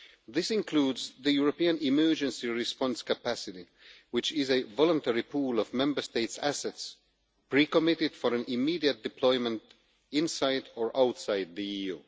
This includes the European Emergency Response Capacity, which is a voluntary pool of Member States' assets pre-committed for immediate deployment inside or outside the EU.